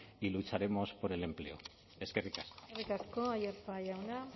y lucharemos por el empleo eskerrik asko aiartza jauna